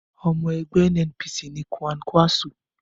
Ọmọ ẹgbẹ́ NNPC ni Kwankwaso.